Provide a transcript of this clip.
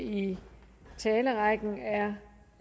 i talerrækken er herre